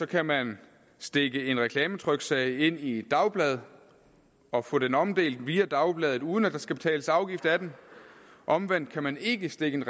kan man stikke en reklametryksag ind i et dagblad og få den omdelt via dagbladet uden at der skal betales afgift af den omvendt kan man ikke stikke en